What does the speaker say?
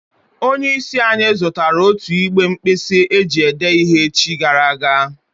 Onye is anyi zutara otu igbe nkpisi eji ede ihe echi gara aga